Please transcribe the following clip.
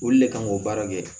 Olu le kan k'o baara kɛ